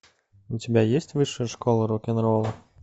у тебя есть высшая школа рок н ролла